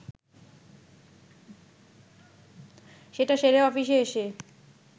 সেটা সেরে অফিসে এসে